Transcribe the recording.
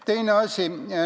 Teine asi.